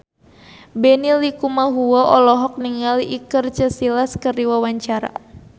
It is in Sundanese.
Benny Likumahua olohok ningali Iker Casillas keur diwawancara